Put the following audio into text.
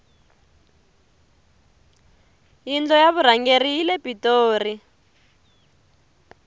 yindlo ya vurhangeri yile pitoli